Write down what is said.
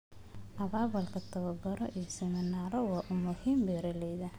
Abaabulka tababaro iyo siminaaro waa u muhiim beeralayda.